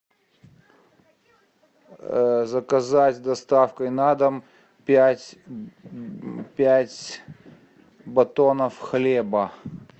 заказать с доставкой на дом пять пять батонов хлеба